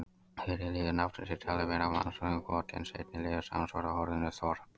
Fyrri liður nafnsins er talinn vera mannsnafnið Goti en seinni liðurinn samsvarar orðinu þorp.